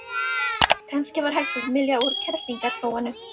Kannski var hægt að mylja úr kerlingarhróinu?